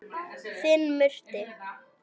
Þinn Murti.